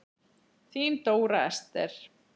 Þín Dóra Esther.